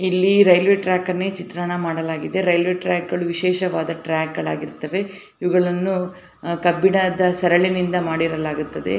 ಇಲ್ಲಿ ರೈಲ್ವೆ ಟ್ರಾಕ್ನ್ ಚಿತ್ರಣ ಮಾಡಲಾಗಿದೆ ರೈಲ್ವೆ ಟ್ರಾಕ್ ವಿಶೇಷವಾದ ಟ್ರಾಕ್ಗಳು ಹಾಗಿರುತ್ತವೆ ಇವುಗಳನ್ನು ಕಬ್ಬಿಣದ ಸರಳಿನಿಂದ ಮಾಡಲಾಗುತ್ತದೆ.